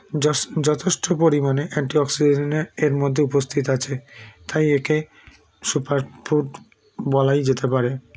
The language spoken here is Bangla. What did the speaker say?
যাস যথেষ্ট পরিমাণে antioxidant -এ এরমধ্যে উপস্থিত আছে তাই একে super food বলাই যেতে পারে